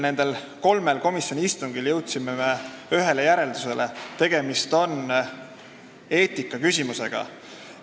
Kõigil kolmel komisjoni istungil jõudsime ühele järeldusele, et tegemist on eetikaküsimusega.